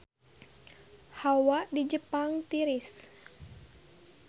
Hawa di Jepang tiris